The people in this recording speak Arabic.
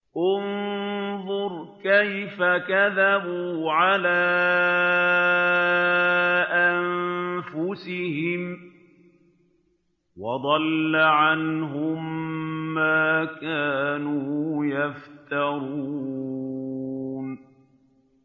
انظُرْ كَيْفَ كَذَبُوا عَلَىٰ أَنفُسِهِمْ ۚ وَضَلَّ عَنْهُم مَّا كَانُوا يَفْتَرُونَ